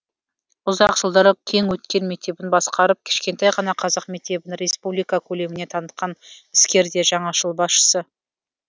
ұзақ жылдар кеңөткел мектебін басқарып кішкентай ғана қазақ мектебін республика көлеміне танытқан іскер де жаңашыл басшысы